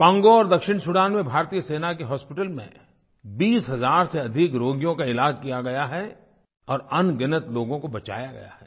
Congo और दक्षिण Sudan में भारतीय सेना के हॉस्पिटल में 20 हज़ार से अधिक रोगियों का इलाज़ किया गया है और अनगिनत लोगों को बचाया गया है